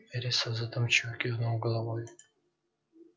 вересов задумчиво кивнул головой